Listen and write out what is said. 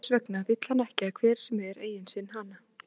Þess vegna vill hann ekki að hver sem er eigni sér hana.